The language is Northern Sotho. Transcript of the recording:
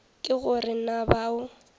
ke go re na bao